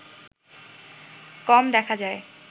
কম দেখা যায়